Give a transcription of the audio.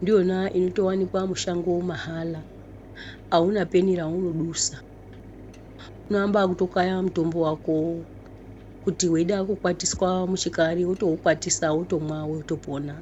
ndiyona inotowanikwa mushango mahala auna peni yaunodusa unoamba ngekutokaya mutombo wako kuti weida kukwatiswa muchikari wotoukwatisa wotomwa wotopona.